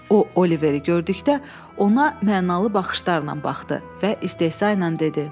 O Oliveri gördükdə ona mənalı baxışlarla baxdı və istehza ilə dedi: